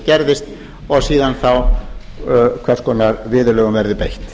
gerðist og síðan þá hvers konar viðurlögum verði beitt